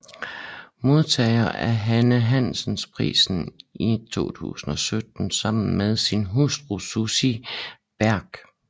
Modtager af Hanne Hansen Prisen i 2017 sammen med sin hustru Sussi Bech